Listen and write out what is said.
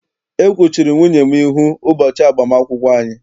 E kwuchiri nwunye m ihu ụbọchị agbam akwụkwọ anyị.